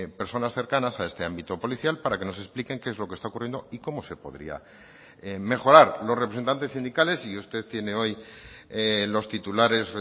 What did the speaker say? personas cercanas a este ámbito policial para que nos expliquen qué es lo que está ocurriendo y cómo se podría mejorar los representantes sindicales y usted tiene hoy los titulares